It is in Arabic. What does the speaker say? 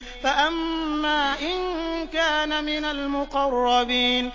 فَأَمَّا إِن كَانَ مِنَ الْمُقَرَّبِينَ